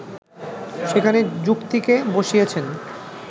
সেখানে যুক্তিকে বসিয়েছেন